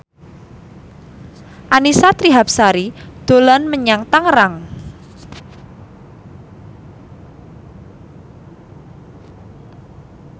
Annisa Trihapsari dolan menyang Tangerang